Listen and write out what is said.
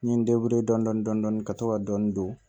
N ye n dɔndɔni ka to ka dɔni don